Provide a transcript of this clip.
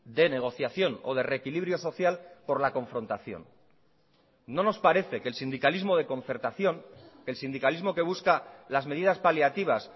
de negociación o de reequilibrio social por la confrontación no nos parece que el sindicalismo de concertación el sindicalismo que busca las medidas paliativas